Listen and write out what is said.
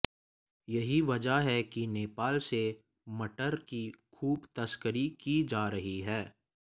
यही वजह है कि नेपाल से मटर की खूब तस्करी की जा रही है